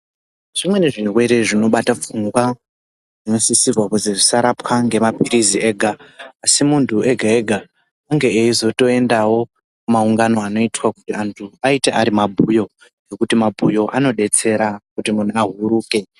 Zvimweni zvirwere zvinobata pfungwa zvinosisirwa kuti zvisarapwe memapirizi ega asi muntu wega wega ange eizoendawo kumaungano anoitwa kuti antu aite arimabhuyo nekuti mabhuyo anobetsera kuti munhu ahuruke.